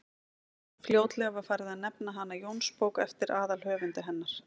fljótlega var farið að nefna hana jónsbók eftir aðalhöfundi hennar